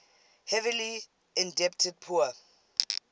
heavily indebted poor